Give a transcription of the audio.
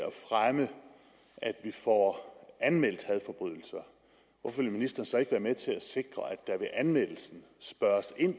at fremme at vi får anmeldt hadforbrydelser hvorfor vil ministeren så ikke være med til at sikre at der ved anmeldelsen spørges ind